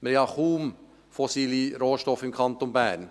Wir haben ja kaum fossile Rohstoffe im Kanton Bern.